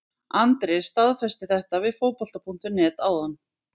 Andri staðfesti þetta við Fótbolta.net áðan.